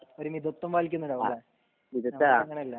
ഒരു മിതത്വം പാലിക്കുന്നുണ്ടാവും ലെ ഞമ്മക്ക് അങ്ങനെയല്ല